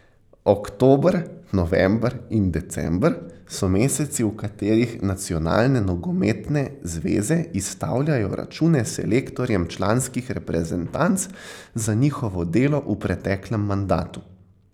Oktober, november in december so meseci, v katerih nacionalne nogometne zveze izstavljajo račune selektorjem članskih reprezentanc za njihovo delo v preteklem mandatu.